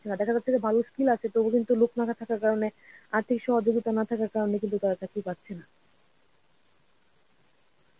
দেখা যাচ্ছে যে ভালো skill আছে. তবু কিন্তু লোক না থাকার কারণে আর্থিক সহযোগিতা না থাকার কারণে কিন্তু তাঁরা চাকরি পাচ্ছে না.